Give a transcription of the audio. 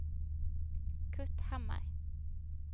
Kurt Hammar